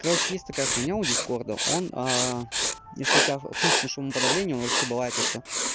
короче есть такая хуйня у дискорда он если у тебя включено шумоподавление он вообще бывает то что